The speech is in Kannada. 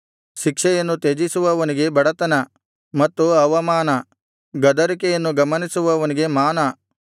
ಶಿಕ್ಷೆಯನ್ನು ತ್ಯಜಿಸುವವನಿಗೆ ಬಡತನ ಮತ್ತು ಅವಮಾನ ಗದರಿಕೆಯನ್ನು ಗಮನಿಸುವವನಿಗೆ ಮಾನ